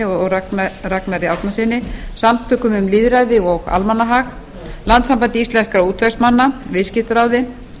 og ragnari árnasyni samtökum um lýðræði og almannahag landssambandi íslenskra útvegsmanna viðskiptaráði